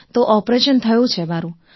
તો ઓપરેશન થયું છે મારું